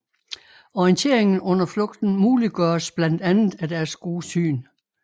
Orienteringen under flugten muliggøres blandt andet af deres gode syn